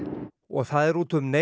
og það er út um